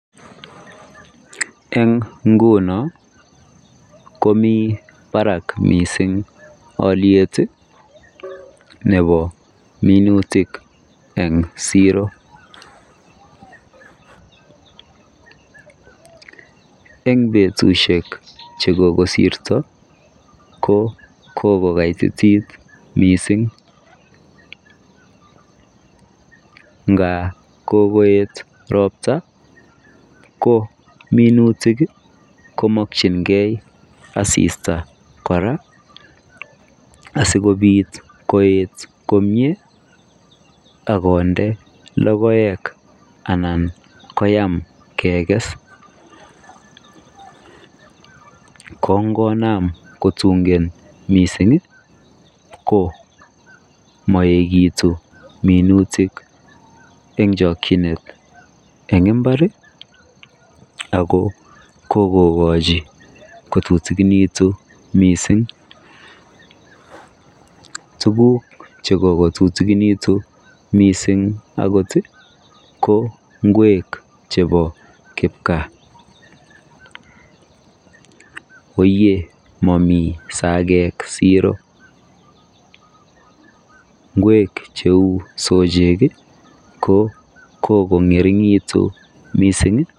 Eng ngunoo ko Mii barak missing aliet ii nebo minutiik eng siroo eng betusiek chekokosirto ko kokokaitotit missing ngaap kokoyeet roptaa ko minutik komakyigei assista kora asikobiit koyeet komyei akonde logoek anan koyaam keges ko ngonam kotungeen missing ko maekitiun minutiik eng chakyineet eng mbar ii ako kokowachii kotutukinituun missing tuguuk che kotutukinituun missing akooot ko ngweek chebo kipkaa oyee mamii sakeek siroo ngweek che uu soseek ii ko kokongoringekituun missing ii.